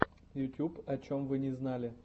ютьюб о чем вы не знали